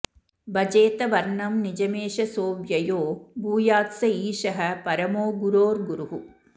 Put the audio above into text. भजेत वर्णं निजमेष सोऽव्ययो भूयात्स ईशः परमो गुरोर्गुरुः